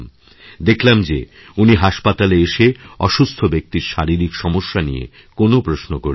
দেখলাম যে উনি হাসপাতালে এসেঅসুস্থ ব্যক্তির শারীরিক সমস্যা নিয়ে কোনও প্রশ্ন করলেন না